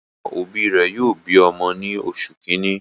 Àwọn òbí rẹ̀ yóò bi ọmọ ní oṣù kìíní.